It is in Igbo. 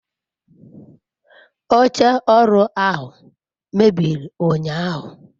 oche oru ahu mebiri unyahu